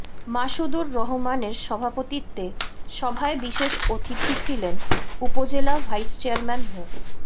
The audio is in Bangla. মাসুদুর রহমানের সভাপতিত্বে সভায় বিশেষ অতিথি ছিলেন উপজেলা ভাইস চেয়ারম্যান মো